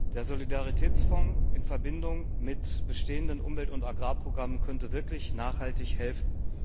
Der Solidaritätsfonds in Verbindung mit bestehenden Umwelt und Agrarprogrammen könnte wirklich nachhaltig helfen.